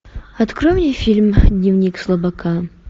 открой мне фильм дневник слабака